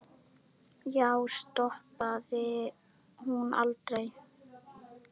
Já, stoppar hún aldrei?